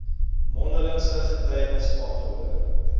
mondelingse getuienis aangehoor